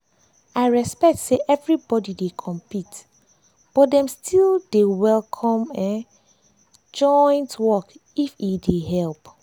i respect say everybody dey compete but dem still dey dey welcome joint work if e dey help.